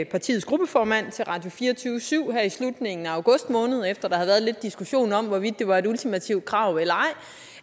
partiets gruppeformand til radio24syv i slutningen af august måned efter at havde været lidt diskussion om hvorvidt det var et ultimativt krav eller ej